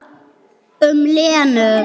Þau höfðu haft nógan tíma.